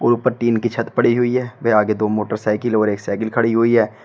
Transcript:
ऊपर टीन की छत पड़ी हुई है व दो आगे दो मोटरसाइकिल और एक साइकिल खड़ी हुई है।